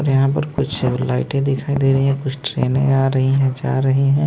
और यहां पर कुछ लाइटें दिखाई दे रही हैं कुछ ट्रेनें आ रही है जा रही हैं।